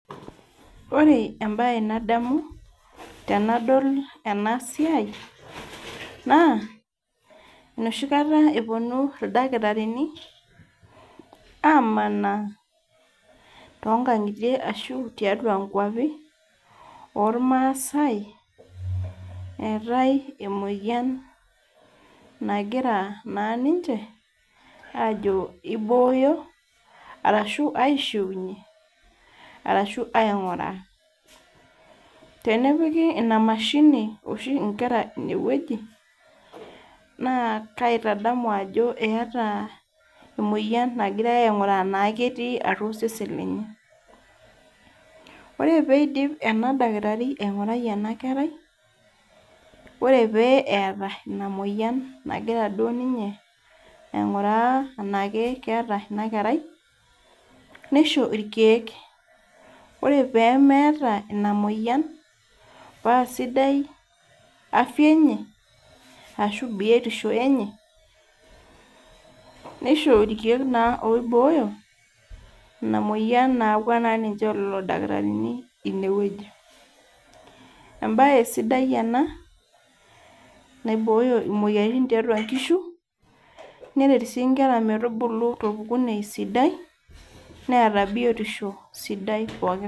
Ore embae nadamu tenadol ena siai naa enoshi kataa epuonu [ildakitarini amanaa too nkang'itie ashu tiatua nkwapii ormasai etae emoyian nagira ninche Ajo kibooyo arashu aishiunye tenepiki emashini oshi Nkera ene wueji naa kaitadamu Ajo keetae emoyian nagirai aing'uraa natii atua osesen lenye ore pidip ena dakitarini aing'uraa ena kerai ore pee etaa ena moyian nagira duo ninye aing'uraa tenaa keeta ena kerai nishoo irkeek ore pee meeta ena moyian paa sidai afia enye ashu biotisho enye nishoo irkeek oiboyoo ena moyian nayaua lelo dakitarini ene wueji mbae sidai ena naiboyo moyiaritin tiatua nkishu neret sii Nkera metubulu te biotisho sidai